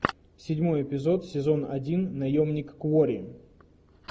седьмой эпизод сезон один наемник куорри